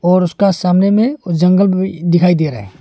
और उसका सामने में उस जंगल में दिखाई दे रहा है।